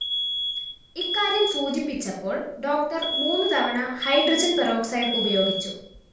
ഇക്കാര്യം സൂചിപ്പിച്ചപ്പോള്‍ ഡോക്ടർ മൂന്ന് തവണ ഹൈഡ്രോജൻ പെറോക്സൈഡ്‌ ഉപയോഗിച്ചു